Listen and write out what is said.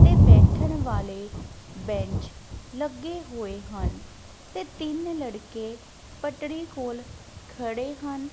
ਤੇ ਬੈਠਣ ਵਾਲੇ ਬੈਂਚ ਲੱਗੇ ਹੋਏ ਹਨ ਤੇ ਤਿੰਨ ਲੜਕੇ ਪੱਟੜੀ ਕੋਲ ਖੜੇ ਹਨ।